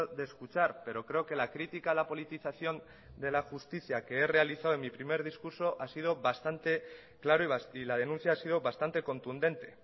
de escuchar pero creo que la crítica a la politización de la justicia que he realizado en mi primer discurso ha sido bastante claro y la denuncia ha sido bastante contundente